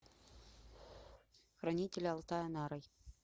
хранитель алтая нарой